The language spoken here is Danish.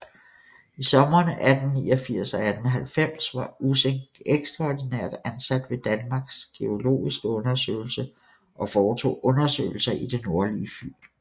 I somrene 1889 og 1890 var Ussing ekstraordinært ansat ved Danmarks geologiske Undersøgelse og foretog undersøgelser i det nordlige Fyn